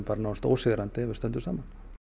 nánast ósigrandi ef við stöndum saman